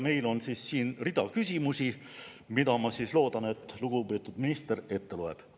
Meil on siin siis rida küsimusi, mille, ma loodan, lugupeetud minister ette loeb.